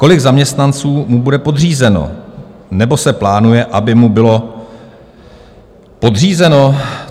Kolik zaměstnanců mu bude podřízeno, nebo se plánuje, aby mu bylo podřízeno?